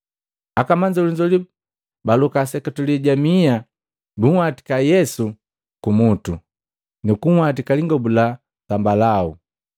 Akamanzolinzoli baloka seketule ja miha bunhwatika Yesu kumutu, nukunhwatika lingobu la zambalau.